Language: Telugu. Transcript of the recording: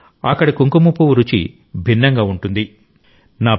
కాశ్మీరీ ప్రజల గొప్పదనం ఏమిటంటే అక్కడి కుంకుమ పువ్వు రుచి భిన్నంగా ఉంటుంది